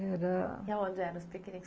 E aonde eram os piqueniques?